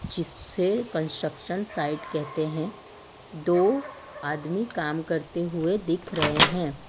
जिसे construction site कहते हैं दो आदमी काम करते हुए दिख रहे हैं।